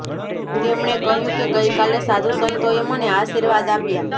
તેમણે કહ્યું કે ગઈ કાલે સાધુ સંતોએ મને આશીર્વાદ આપ્યાં